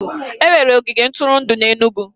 Enwere ogige ntụrụndụ n'Enugwu